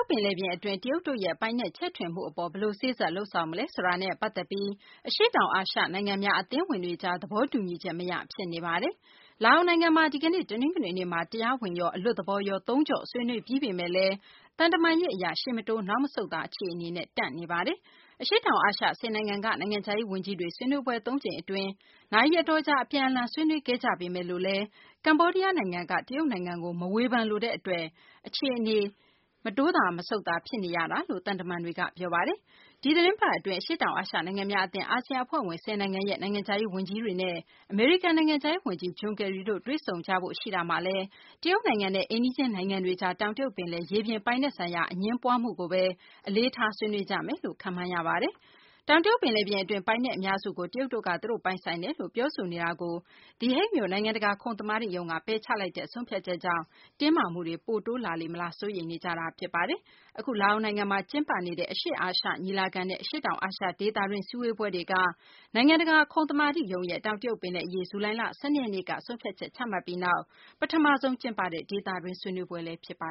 တ်ပင်လယ်ပြင်အတွင်း တရုတ်တို့ရဲ့ ပိုင်နက်ချဲ့ထွင်မှုကို ဘယ်လို စေ့စပ် လုပ်ဆောင်မလဲဆိုတာနဲ့ ပတ်သက်ပြီး အရှေ့တောင်အာရှနိုင်ငံများ အသင်းဝင်တွေကြား သဘောတူညီချက်မရ ဖြစ်နေပါတယ်။ ဒီကနေ့ တနင်္ဂနွေနေ့ လာအိုနိုင်ငံမှာ တရားဝင်ရော အလွတ်သဘောရော သုံးကျော့ ဆွေးနွေးပြီးပေမယ့်လည်း သံတမန်ရေးအရ ရှေ့မတိုး နောက်မဆုတ်သာ အခြေအနေနဲ့ တန့်နေပါတယ်။ အရှေ့တောင်အာရှ ၁၀ နိုင်ငံက နိုင်ငံခြားရေးဝန်ကြီးတွေ ဆွေးနွေးပွဲ သုံးကြိမ်အတွင်း နာရီအတော်ကြာ အပြန်အလှန် ဆွေးနွေးခဲ့ကြပေမယ့်လည်း ကမ္ဘောဒီးယားနိုင်ငံက တရုတ်နိုင်ငံကို မဝေဖန်လိုတဲ့အတွက်ကြောင့် အခြေအနေ မတင်မကျ ဖြစ်နေတယ်လို့ သံတမန်တွေက ပြောကြပါတယ်။ ဒီသတင်းပတ်အတွင်း အာဆီယံအဖွဲ့ဝင် ၁၀ နိုင်ငံရဲ့ နိုင်ငံခြားရေးဝန်ကြီးတွေနဲ့ အမေရိကန် နိုင်ငံခြားရေးဝန်ကြီး John Kerry တို့ တွေ့ဆုံတဲ့အခါမှာတော့ တရုတ်နိုင်ငံနဲ့ အိမ်နီးချင်းနိုင်ငံတွေကြား တောင်တရုတ်ပင်လယ် ရေပြင်ပိုင်နက်ဆိုင်ရာ အငြင်းပွားမှုကိုပဲ အလေးထားဆွေးနွေးကြမယ်လို့ ခန့်မှန်းရပါတယ်။ တောင်တရုတ် ပင်လယ်ပြင်အတွင်း ပိုင်နက်အများစုကို တရုတ်တို့က သူတို့ပိုင်ဆိုင်တယ်လို့ ပြောဆိုနေမှုကို The Hague မြို့ နိုင်ငံတကာ ခုံသမာဓိရုံးက ပယ်ချလိုက်တဲ့ ဆုံးဖြတ်ချက်ကြောင့် တင်းမာမှုတွေ ပိုတိုးလာလေမလား စိုးရိမ်နေကြတာပါ။ အခု လာအိုနိုင်ငံမှာ ကျင်းပနေတဲ့ အရှေ့အာရှ ညီလာခံနဲ့ အရှေ့တောင်အာရှဒေသတွင်း စည်းဝေးပွဲတွေက နိုင်ငံတကာ ခုံသမာဓိရုံးရဲ့ တောင်တရုတ်ပင်လယ်အရေး ဇူလိုင်လ ၁၂ ရက်နေ့က ဆုံးဖြတ်ချက် ချမှတ်ပြီးနောက် ပထမဆုံးကျင်းပတဲ့ ဒေသတွင်း ဆွေးနွေးပွဲလည်း ဖြစ်ပါ